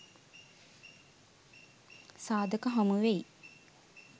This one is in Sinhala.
සාධක හමුවෙයි